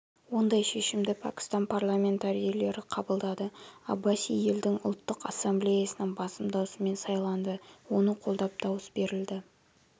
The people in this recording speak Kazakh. ондай шешімді пәкістан парламентарийлері қабылдады аббаси елдің ұлттық ассамблеясының басым даусымен сайланды оны қолдап дауыс берілді